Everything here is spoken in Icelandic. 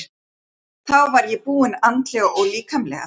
Þá var ég búin andlega og líkamlega.